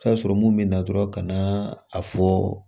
sɔrɔ mun bɛ na dɔrɔn ka na a fɔ